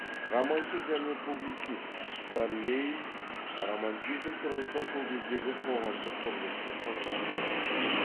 романшы және публицист карлейль романтизм тұрғысынан сол кездегі қоғамдық құрылысты сынға алды